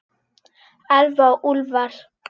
Elfa og Úlfar.